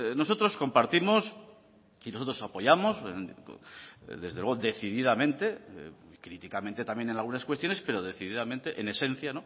nosotros compartimos y nosotros apoyamos desde luego decididamente críticamente también en algunas cuestiones pero decididamente en esencia